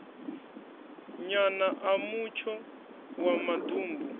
nyana a mutsho wa maḓumbu